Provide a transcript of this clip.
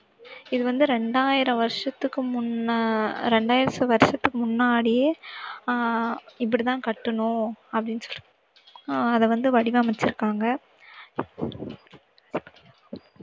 இது வந்து ரெண்டாயிரம் வருஷத்துக்கு முன்னா~ ரெண்டாயிரம் வருஷத்துக்கு முன்னாடியே அஹ் இப்படித்தான் கட்டணும் அப்படின்னு சொ~ அஹ் அதை வந்து வடிவமைச்சிருக்காங்க